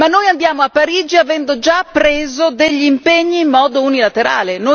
Ma noi andiamo a Parigi avendo già preso degli impegni in modo unilaterale?